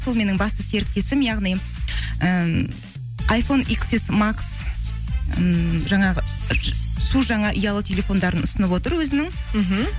сол менің басты серіктесім яғни ііі ммм жаңағы су жаңа ұялы телефондарын ұсынып отыр өзінің мхм